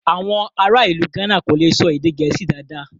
Awọn ará ilù Gána kò lè sọ èdè Gẹẹsi dádá